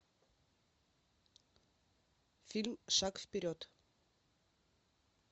фильм шаг вперед